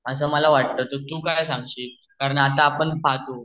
अस मला वाटत तर तू काय सांगते कारण आपण आता पाहतो